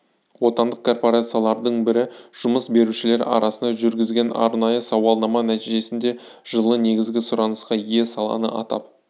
отандық корпорациялардың бірі жұмыс берушілер арасында жүргізген арнайы сауалнама нәтижесінде жылы негізгі сұранысқа ие саланы атап